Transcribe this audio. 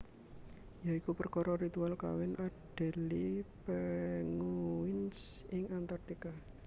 Ya iku perkara ritual kawin Adelie Penguins ing Antartika